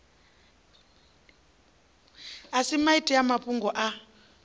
sa maiti a mafhungoni a